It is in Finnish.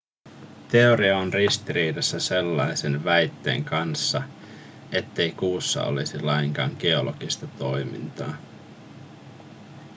teoria on ristiriidassa sellaisen väitteen kanssa ettei kuussa olisi lainkaan geologista toimintaa